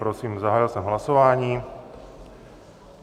Prosím, zahájil jsem hlasování.